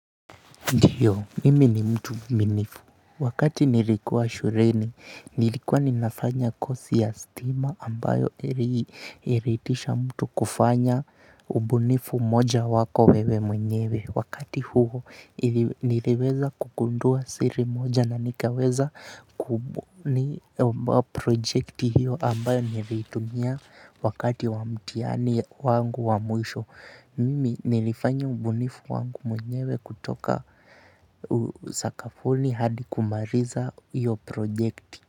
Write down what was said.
Ndiyo, mimi ni mtu mwaminifu. Wakati nilikuwa shuleni, nilikuwa ninafanya kosi ya stima ambayo iliitisha mtu kufanya ubunifu moja wako wewe mwenyewe. Wakati huo, niliweza kugundua siri moja na nikaweza kubuni project hiyo ambayo niliitumia wakati wa mtihani wangu wa mwisho. Mimi nilifanya ubunifu wangu mwenyewe kutoka sakafuni hadi kumaliza hiyo project.